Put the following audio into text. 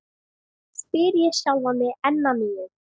Nú veit ég að nóg er komið af játningum.